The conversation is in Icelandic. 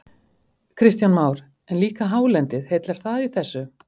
Kristján Már: En líka hálendið, heillar það í þessu?